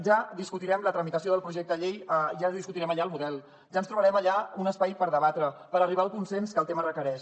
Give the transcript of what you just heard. ja discutirem la tramitació del projecte de llei ja discutirem allà el model ja trobarem allà un espai per debatre per arribar al consens que el tema requereix